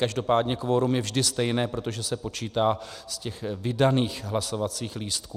Každopádně kvorum je vždy stejné, protože se počítá z těch vydaných hlasovacích lístků.